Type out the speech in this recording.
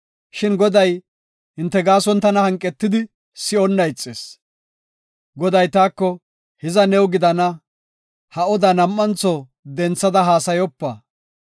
Shin Goday hinte gaason tana hanqetidi si7onnan ixis. Goday taako, “Hiza new gidana; ha odaa nam7antho denthada haasayopa.